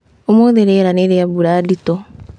Ũmũthĩ rĩera nĩ rĩa mbura nditũ